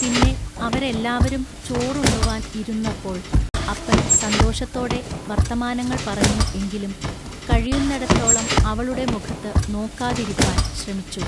പിന്നെ അവരെല്ലാവരും ചോറുണ്ണുവാൻ ഇരുന്നപ്പോൾ അപ്പൻ സന്തോഷത്തോടെ വൎത്തമാനങ്ങൾ പറഞ്ഞു എങ്കിലും കഴിയുന്നെടത്തോളം അവളുടെ മുഖത്തു നോക്കാതിരിപ്പാൻ ശ്രമിച്ചു.